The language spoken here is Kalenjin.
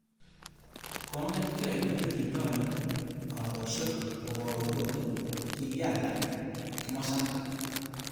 Kongetkei olekindoi karoshek kobouru kole kikealda kimosatak.